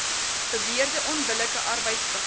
beweerde onbillike arbeidspraktyk